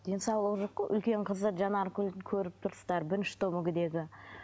денсаулығы жоқ қой үлкен қызы жанаргүл көріп тұрсыздар бірінші топ мүгедегі